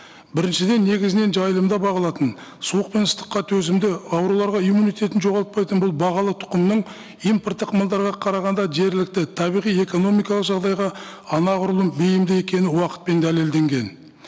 біріншіден негізінен жайылымда бағылатын суық пен ыстыққа төзімді ауруларға иммунитетін жоғалтпайтын бұл бағалы тұқымның импорттық малдарға қарағанда жергілікті табиғи экономикалық жағдайға анағұрлым бейімді екені уақытпен дәлелденген